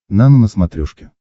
нано на смотрешке